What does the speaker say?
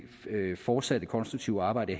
fortsatte konstruktive arbejde